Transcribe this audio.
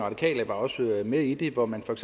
radikale var også med i det hvor man for